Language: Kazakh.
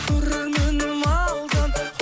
көрерменім алтын